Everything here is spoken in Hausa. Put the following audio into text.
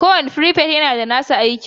kowane frifet yana da nasa aikin